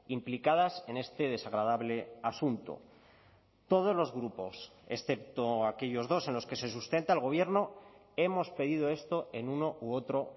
implicadas en este desagradable asunto todos los grupos excepto aquellos dos en los que se sustenta el gobierno hemos pedido esto en uno u otro